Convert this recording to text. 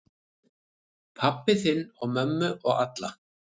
Pabba þinn og mömmu og alla.